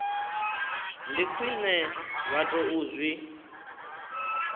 ndi khwine vha tou zwi